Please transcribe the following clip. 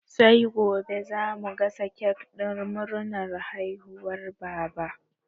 Sai gobe za mu gasa kek ɗin murnar haihuwar Baba.